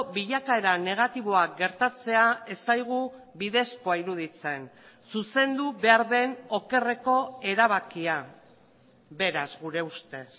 bilakaera negatiboak gertatzea ez zaigu bidezkoa iruditzen zuzendu behar den okerreko erabakia beraz gure ustez